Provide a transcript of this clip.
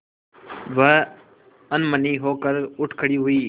वह अनमनी होकर उठ खड़ी हुई